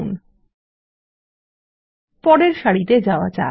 visible ঠিক আছে পরের সারিতে যাওয়া যাক